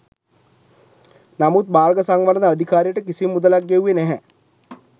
නමුත් මාර්ග සංවර්ධන අධිකාරියට කිසිම මුදලක් ගෙව්වේ නැහැ.